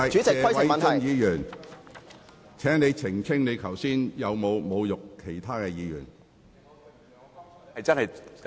謝偉俊議員，請澄清你剛才有否侮辱其他議員。